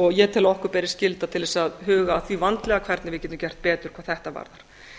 og ég tel að okkur beri skylda til að huga að því vandlega hvernig við getum gert betur hvað þetta varðar